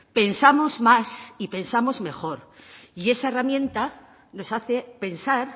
pensamos más y pensamos mejor y esa herramienta nos hace pensar